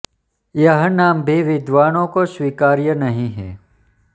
यह नाम भी विद्वानों को स्वीकार्य नहीं है